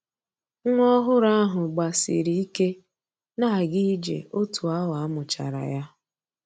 Nwa ọhụrụ ahụ gbasiri ike na-aga ije otu awa a mụchara ya